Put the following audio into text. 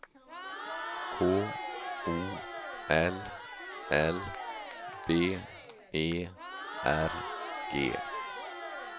K O L L B E R G